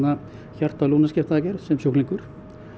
hjarta og sem sjúklingur